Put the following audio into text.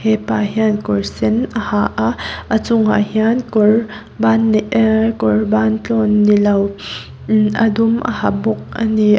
hepa hian kawr sen a ha a a chungah hian kawr ban nei ehh kawr ban tlawn ni lo umhh a dum a ha bawk a ni.